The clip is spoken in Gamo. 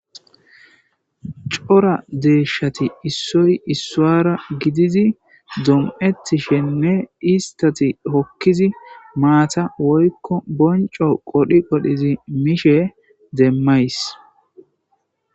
Cora deeshati issoy issuwara gididi dom'ettishenne istati hokkidi maata woykko bonco qodhi qodhidi mishe demmays.